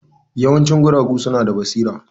Yawancin guragu suna da basira.